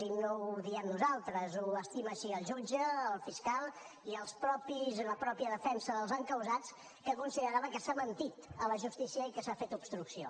i no ho diem nosaltres ho estima així el jutge el fiscal i la mateixa defensa dels encausats que considerava que s’ha mentit a la justícia i que s’ha fet obstrucció